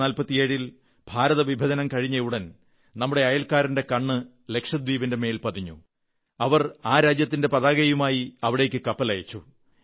1947 ൽ ഭാരതവിഭജനം കഴിഞ്ഞയുടൻ നമ്മുടെ അയൽക്കാരന്റെ കണ്ണ് ലക്ഷദ്വീപിന്റെ മേൽ പതിഞ്ഞു അവർ ആ രാജ്യത്തിന്റെ പതാകയുമായി അവിടേക്ക് കപ്പലയച്ചു